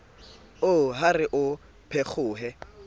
oo ha re a phekgohe